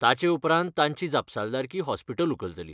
ताचे उपरांंत तांची जापसालदारकी हॉस्पिटल उखलतली.